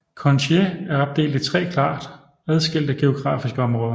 Countiet er opdelt i tre klart adskilte geografiske områder